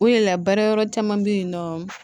O de la baara yɔrɔ caman bɛ yen nɔ